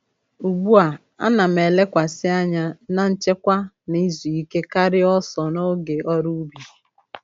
Ugbu a,a na'm elekwasị anya na nchekwa na izu ike karịa ọsọ n'oge n’ọrụ ubi.